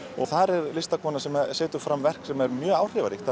þar er listakona sem setur fram verk sem er mjög áhrifaríkt